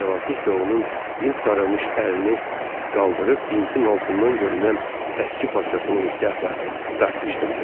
Co nəvazişlə onun bint sarımış əlini qaldırıb bintin altından görünən əski parçasını ehtiyatla dartışdırdı.